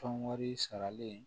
Tɔn wari saralen